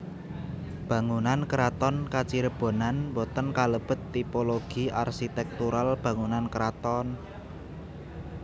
Bangunan Keraton Kacirebonan boten kalebet tipologi arsitektural bangunan keraton